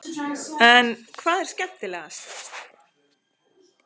En hvað er skemmtilegast?